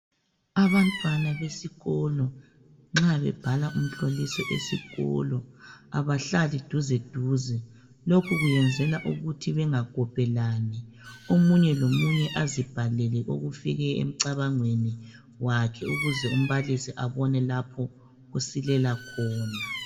Abantwana besikolo nxa bebhala umhloliso esikolo abahlali duze duze. Lokhu kuyenzelwa ukuba bangakopelani. Omunye lomunye azibhalele okufike emcabangweni wakhe ukuze umbalisi abone lapho osilela khona.